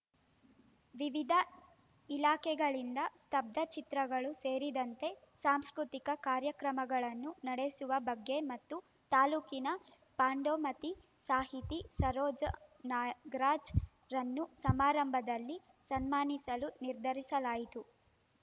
ವಿವಿಧ ಇಲಾಖೆಗಳಿಂದ ಸ್ತಬ್ದ ಚಿತ್ರಗಳು ಸೇರಿದಂತೆ ಸಾಂಸ್ಕೃತಿಕ ಕಾರ್ಯಕ್ರಮಗಳನ್ನು ನಡೆಸುವ ಬಗ್ಗೆ ಮತ್ತು ತಾಲೂಕಿನ ಪಾಂಡೋಮಟ್ಟಿಸಾಹಿತಿ ಸರೋಜನಾಗರಾಜ್‌ರನ್ನು ಸಮಾರಂಭದಲ್ಲಿ ಸನ್ಮಾನಿಸಲು ನಿರ್ಧರಿಸಲಾಯಿತು